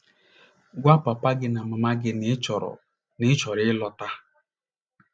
Gwa papa gị na mama gị na ị chọrọ na ị chọrọ ịlọta.